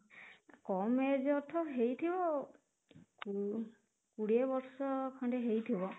କମ age ହେଇଥିବ ଆଉ, ଓ କୋଡିଏ ବର୍ଷ ଖଣ୍ଡେ ହେଇଥିବ